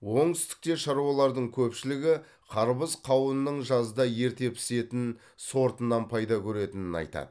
оңтүстікте шаруалардың көпшілігі қарбыз қауынның жазда ерте пісетін сортынан пайда көретінін айтады